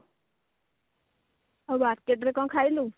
ଆଉ market ରେ କଣ ଖାଇଲୁ